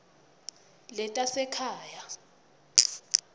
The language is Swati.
letasekhaya